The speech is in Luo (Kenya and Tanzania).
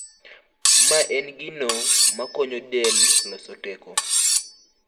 Mae en gino makonyo del loso teko.